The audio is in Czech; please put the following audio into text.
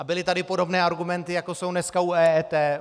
A byly tady podobné argumenty, jako jsou dneska u EET.